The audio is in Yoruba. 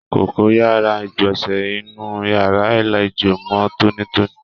Kókó yàrá igbọnsẹ inú yàrá àlejò mọ tonitoni.